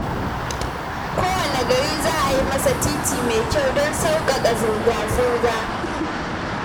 Kowanne gari za a yi masa titi mai kyau don sauƙaƙa zirga-zirga